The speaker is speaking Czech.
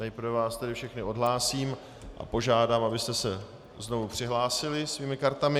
Nejprve vás tedy všechny odhlásím a požádám, abyste se znovu přihlásili svými kartami.